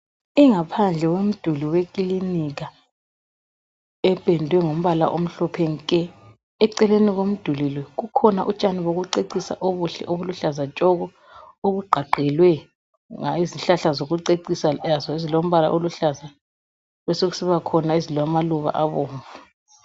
Ingaphandle yomduli wekilinika ependwe ngombala omhlophe nke. Eceleni komduli lo kukhona utshani bokucecisa obuhle obuluhlaza tshoko obugqagqelwe yizihlahla zokucecisa lazo ezilombala oluhlaza besokusiba khona ezilamaluba abomvu.